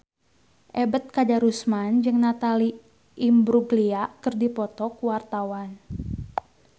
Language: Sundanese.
Ebet Kadarusman jeung Natalie Imbruglia keur dipoto ku wartawan